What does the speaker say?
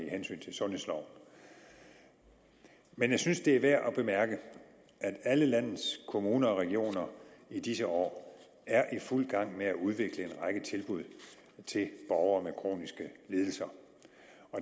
i sundhedsloven men jeg synes det er værd at bemærke at alle landets kommuner og regioner i disse år er i fuld gang med at udvikle en række tilbud til borgere med kroniske lidelser